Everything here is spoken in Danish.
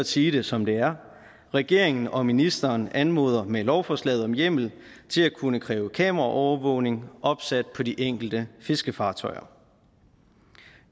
sige det som det er regeringen og ministeren anmoder med lovforslaget om hjemmel til at kunne kræve kameraovervågning opsat på de enkelte fiskefartøjer